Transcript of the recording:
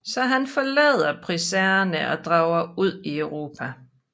Så han forlader Pricerne og drager ud i Europa